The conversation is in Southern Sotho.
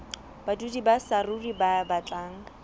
badudi ba saruri ba batlang